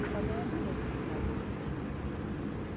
E também é bonita a cidade de Centro-Sé.